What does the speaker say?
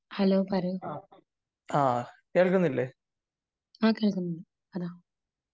Hello പറയൂ . അ കേൾക്കുന്നുണ്ട് പറ